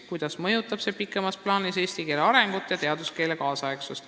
Kuidas mõjutab see pikemas plaanis eesti keele arengut ja teaduskeele kaasaegsust?